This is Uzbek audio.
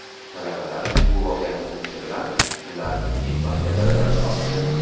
Talabalar bu voqeani o‘qishi bilan ularning empatiya darajasi oshdi.